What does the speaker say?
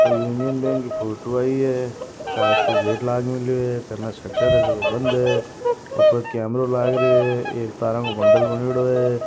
कोई union bank की photo आए है कांच को गेट लाग मेलियो है कन शटर जको बंद हे ऊपर कैमरा लागेरे तारा को बंडल बणियोडो है।